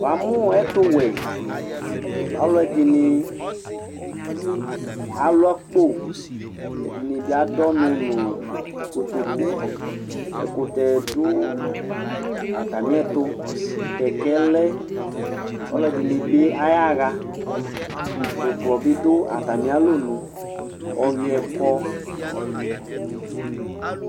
Wa mu ɛtu wɛ Alu ɛɖɩnɩ alu akpo, ɛɖɩnɩ bɩ aɖu ɔnu nu kotoku Ɛkutɛ ̀ɖu atamiɛtu Kɛkɛ lɛ Alu ɛɖɩnɩ bɩ ayaɣa Dzuklɔ bɩ ɖu atami alɔnu, ɔwuiɛ kɔ